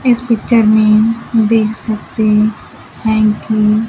इस पिक्चर में देख सकते हैं कि--